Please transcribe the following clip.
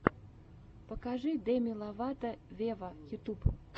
покажи деми ловато вево ютюб